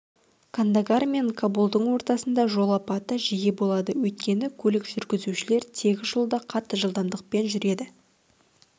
кандагар мен кабулдың ортасында жол апаты жиі болады өйткені көлік жүргізушілер тегіс жолда қатты жылдамдықпен жүреді